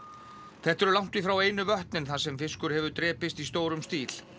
þetta eru langt í frá einu vötnin þar sem fiskur hefur drepist í stórum stíl